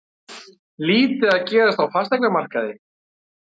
Lítið að gerast á fasteignamarkaði